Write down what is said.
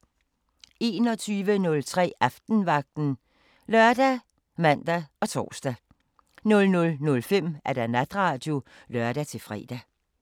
21:03: Aftenvagten ( lør, man, tor) 00:05: Natradio (lør-fre)